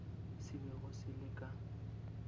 se bego se le ka